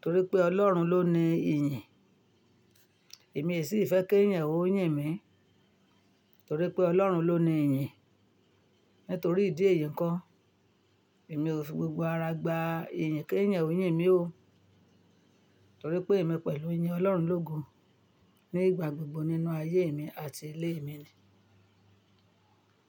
torí pé Ọlọ́run ló ní iyìn. Èmi sì fẹ́ kí eyan ó yìn mí, torí pé Ọlọ́run ló ní iyìn. Nítorí ìdí èyí ńko, èmi ò fi gbogbo ara gba iyìn kí eyan ó yìn mí ó, torí pé èmi pẹ̀lú yìn Ọlọ́run ló gun nígbà gbogbo nínú ayé mi àti ilé mi ni.